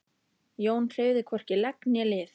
Jón hreyfði hvorki legg né lið.